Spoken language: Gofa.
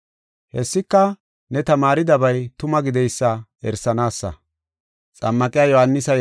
Hessika, ne tamaaridabay tuma gideysa erisanaasa.